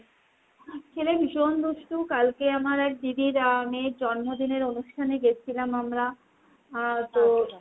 ছেলে ভীষণ দুষ্টু। কালকে আমার এক দিদির আহ মেয়ের জন্মদিনের অনুষ্ঠানে গেছিলাম আমরা। আহ পরে .